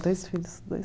É, dois filhos, dois